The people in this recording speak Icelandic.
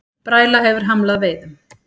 Bræla hefur hamlað veiðum